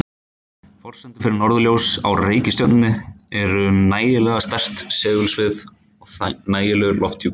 Forsendur fyrir norðurljós á reikistjörnum eru nægilega sterkt segulsvið og nægilegur lofthjúpur.